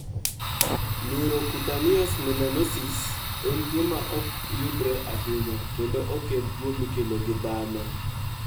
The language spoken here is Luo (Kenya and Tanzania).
Neurocutaneous melanosis (NCM) en tuwo ma ok yudre ahinya, kendo ok en tuwo mikelo gi dhano.